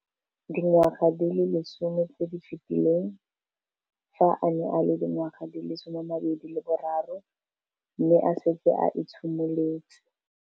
Dingwaga di le 10 tse di fetileng, fa a ne a le dingwaga di le 23 mme a setse a itshimoletse